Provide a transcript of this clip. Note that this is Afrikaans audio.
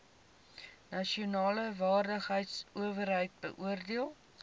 nasionale vaardigheidsowerheid beoordeel